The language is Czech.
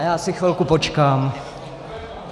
A já si chvilku počkám.